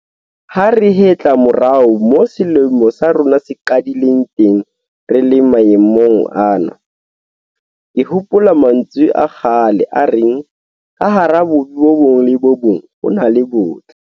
Ha re hetla morao moo selemo sa rona se qadileng teng re le maemong ana, ke hopola mantswe a kgale a reng 'ka hara bobe bo bong le bo bong ho na le botle'.